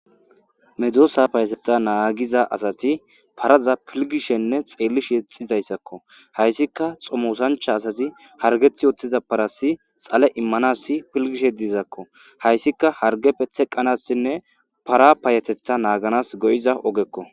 Medoosa payetetha naagiza asati paraza pilgishenne xeellish yexxizayssakko hayssika xomosancha asasi hargeth oothtiza parasi xale immanassi pilgishe diizakko hayssika hargeppe teqqanassinne para payatetha naaganas go7iza ogekko.